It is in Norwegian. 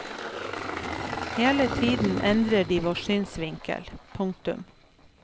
Hele tiden endrer de vår synsvinkel. punktum